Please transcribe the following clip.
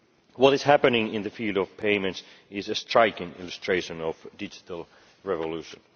What is happening in the field of payments is a striking illustration of digital revolution.